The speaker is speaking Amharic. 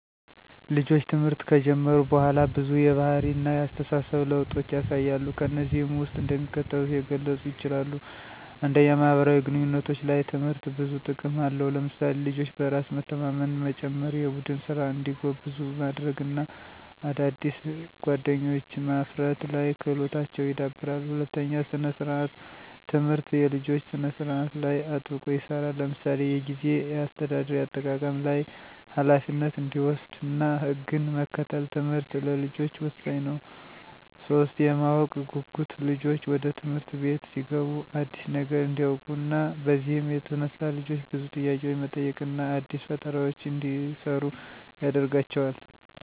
ልጆች ትምህርት ከጀመሩ በኋላ ብዙ የባህሪ እነ የአስተሳሰብ ለውጦችን ያሳያሉ። ከነዚህም ውስጥ እንደሚከተሉት የገለጹ ይችላሉ። 1, ማህበራዊ ግንኙነቶች፦ ላይ ትምህርት ብዙ ጥቅም አለው ለምሳሌ፦ ልጆች በራስ መተማመንን መጨመራ፣ የቡድን ስራ እንዲጎብዙ ማድርግ እና አዳዲስ ጓደኞችዎ ማፍርት ላይ ክህሎታቸው ይዳብራል። 2, ሰነ-ስርአት፦ ትምህርት የልጆች ስነ ስርአት ላይ አጥብቆ ይሰራል ለምሳሌ፦ የጊዜ አሰተዳደር (አጠቃቀም ላይ) ፣ኋላፊነት እንዲወሰድ እና ህግን መከተል ትምህርት ለልጆች ወሳኝ ነው። 3, የማወቅ ጉጉት፦ ልጆች ወደ ትምህርት አቤት ሲገቡ አዲስ ነገር እንዲውቁ ነው። በዚህም የተነሳ ልጆች ብዙ ጥያቄዎች መጠየቅ እና አዲስ ፈጠራዎችን እንዲሰሩ ያደርጋቸዋል። 4, በዕለት ተዕለት እንቅስቃሴዎች፦ ትምህርት አቤት የተማሩት በየ ቀኑ የጤና እነ የአካል ማብቃት እንቅስቃሴ ይሰራሉ።